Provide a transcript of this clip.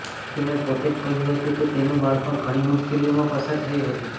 તેણે પોતે જ કહ્યું હતું કે તેનું બાળપણ ઘણી મુશ્કેલીઓમાંથી પસાર થયું હતું